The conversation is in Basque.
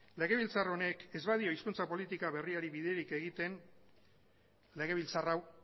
legebiltzar honek ez badio hizkuntza politika berriari biderik egiten legebiltzar hau